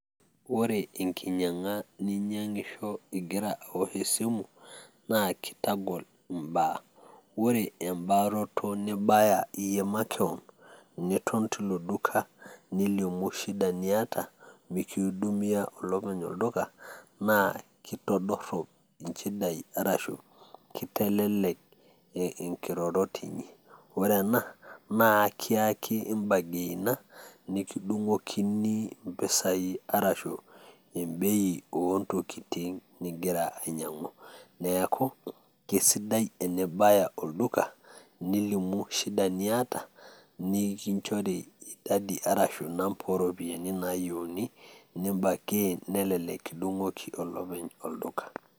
ore enkinyiang'a ninyiang'isho igira aosh esimu, naa kitagol imbaa, ore ebaaroto nibaya iyie makewon, naa iton tilo duka nilimu shida niata, mikiudumia olopeny olduka, naa kitodorop inchidai arashu kitelelek inkirorot inyi, ore ena naa ekiyaki i burgainer, nikidung'okini i mpisai arashu ebei oontokitin nigira ainyiang'u. neeku isidai enibaya olduka. nilimu shida niata, nikinchori idadi arashi inamba ooropiyiani naayieuni ni burgaiin nelelek kidung'oki olopeny olduka.